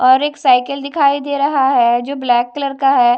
और एक साइकिल दिखाई दे रहा है जो ब्लैक कलर का है।